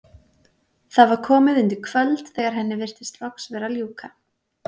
Það var komið undir kvöld þegar henni virtist loks vera að ljúka.